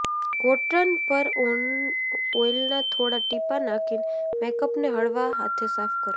cotton પર ઓઈલનાં થોડાં ટીપાં નાખીને મેકઅપને હળવા હાથે સાફ કરવો